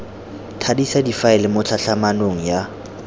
thadisa difaele mo tlhatlhamanong ya